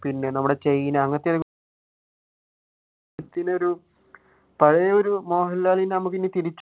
പിന്നെ നമ്മുടെ പഴയ ഒരു മോഹൻലാലിനെ നമുക്ക് ഇനി തിരിച്ചു